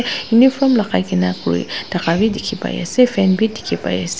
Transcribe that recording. uniform lagaikena kurithaka bi dikhi pai ase fan bi dikhi pai ase.